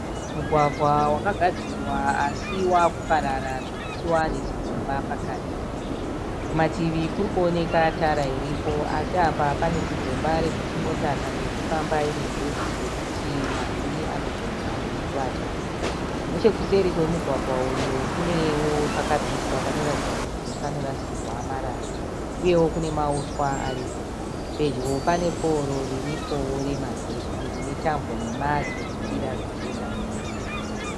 Mugwagwa wakagadzirwa asi wakuparara zvokuti wava nezigomba pakati. Kumativi kurikuoneka tara iripo asi apa pane zigomba reuti mota kana ichifamba ine njodzi yokuti mavhiri anogona kukuvadzwa. Nechekuseri kwemugwagwa uyu kunewo pakapiswa panoratidza kuti pakarasirwa marara uye nemauswa aripo. Pedyo pane pouro riripo remagetsi rine tambo nhemha dzinokwira dzichienda mudenga.